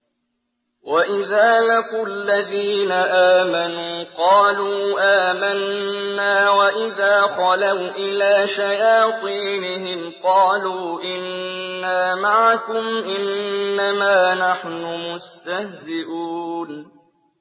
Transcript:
وَإِذَا لَقُوا الَّذِينَ آمَنُوا قَالُوا آمَنَّا وَإِذَا خَلَوْا إِلَىٰ شَيَاطِينِهِمْ قَالُوا إِنَّا مَعَكُمْ إِنَّمَا نَحْنُ مُسْتَهْزِئُونَ